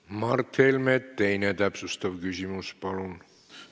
Mart Helme, teine täpsustav küsimus, palun!